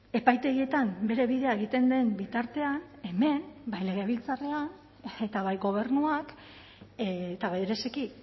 epaitegietan bere bidea egiten den bitartean hemen bai legebiltzarrean eta bai gobernuak eta bereziki